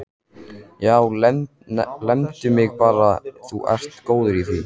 Já, lemdu mig bara, þú ert góður í því!